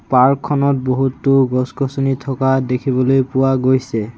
Park খনত বহুতো গছ গছনি থকা দেখিবলৈ পোৱা গৈছে।